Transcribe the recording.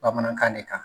Bamanankan de kan